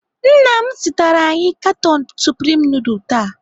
Nna m zụtara anyị katon supreme nudul taa.